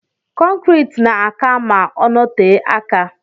kọncrit na aka ma ọnọte aka.